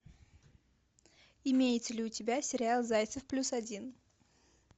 имеется ли у тебя сериал зайцев плюс один